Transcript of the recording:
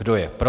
Kdo je pro?